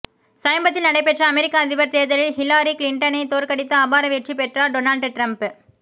சமீபத்தில் நடைபெற்ற அமெரிக்க அதிபர் தேர்தலில் ஹிலாரி கிளிண்டனை தோற்கடித்து அபார வெற்றி பெற்றார் டொனால்ட் டிரம்ப்